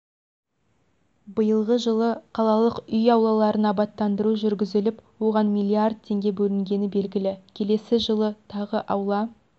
биылғы жылы қалалық үй аулаларын абаттандыру жүргізіліп оған миллиард теңге бөлінгені белгілі келесі жылы тағы аула